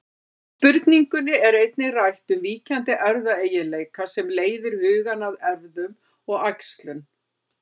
Í spurningunni er einnig rætt um víkjandi erfðaeiginleika sem leiðir hugann að erfðum og æxlun.